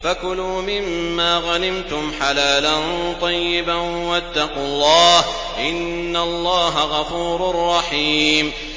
فَكُلُوا مِمَّا غَنِمْتُمْ حَلَالًا طَيِّبًا ۚ وَاتَّقُوا اللَّهَ ۚ إِنَّ اللَّهَ غَفُورٌ رَّحِيمٌ